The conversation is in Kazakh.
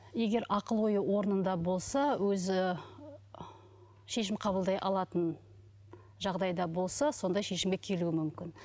егер ақыл ойы орнында болса өзі шешім қабылдай алатын жағдайда болса сондай шешімге келуі мүмкін